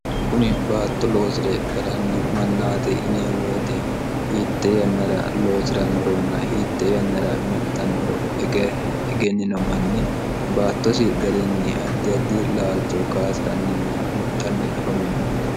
kuni baatto loosire galanno mannaati yinemmo woyite hiitte yannara loosi'ranoronna hiitte yannara mixxannoro egennino manni baattosi garinni addi addi laalcho kaasi'ranninna mixxanni afamanno